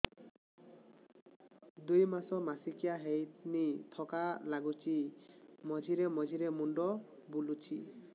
ଦୁଇ ମାସ ମାସିକିଆ ହେଇନି ଥକା ଲାଗୁଚି ମଝିରେ ମଝିରେ ମୁଣ୍ଡ ବୁଲୁଛି